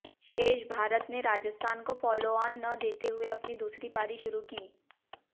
शेष भारत ने राजस्थान को फालोआन न देते हुए अपनी दूसरी पारी शुरू की